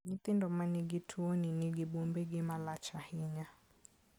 Nyithindo ma nigi tuoni nigi buombegi ma lach ahinya.